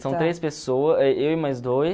São três pessoa, eh eu e mais dois.